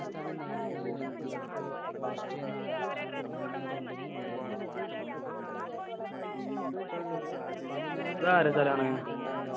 അതാരുടെ സ്ഥലമാണ്?